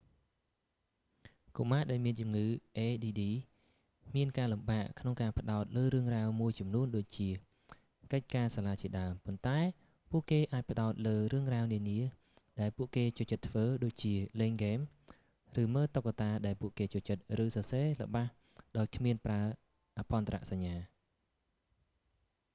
កុមារដែលមានជំងឺ add មានការលំបាកក្នុងការផ្ដោតលើរឿងរ៉ាវមួយចំនួនដូចជា កិច្ចការសាលាជាដើម ប៉ុន្តែ ពួកគេអាចផ្ដោតលើរឿងរ៉ាវនានា ដែលពួកគេចូលចិត្តធ្វើ ដូចជា លេងហ្គេម ឬមើលតុក្កតាដែលពួកគេចូលចិត្ត ឬសរសេរល្បះដោយគ្មានប្រើអភ័ន្តរសញ្ញា